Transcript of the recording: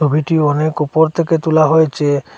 ছবিটি অনেক ওপর থেকে তোলা হয়েছে।